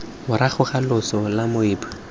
morago ga loso la moabi